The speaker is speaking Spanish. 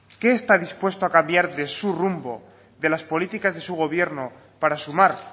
qué está dispuesto a cambiar de su rumbo de las políticas de su gobierno para sumar